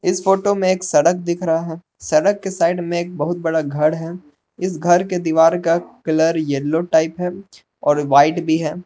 इस फोटो में एक सड़क दिख रहा है सड़क के साइड में एक बहुत बड़ा घर है इस घर के दीवार का कलर येलो टाइप है और वाइट भी है।